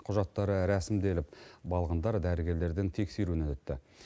құжаттары рәсімделіп балғындар дәрігерлердің тексеруінен өтті